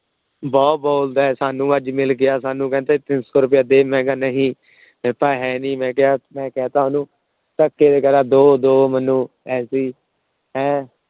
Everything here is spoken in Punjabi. ਬਹੁਤ ਬੋਲਦਾ ਹੈ ਸਾਨੂੰ ਅੱਜ ਮਿਲ ਗਿਆ ਸਾਨੂੰ ਕਹਿੰਦਾ ਤਿੰਨ ਸੌ ਰੁਪਇਆ ਦੇ ਮੈਂ ਕਿਹਾ ਨਹੀਂ ਹੈਨੀ ਮੈਂ ਕਿਹਾ ਮੈਂ ਕਹਿ ਦਿੱਤਾ ਉਹਨੂੰ ਧੱਕੇ ਦਓ ਦਓ ਮੈਨੂੰ ਪੈਸੇ ਹੈੈਂ।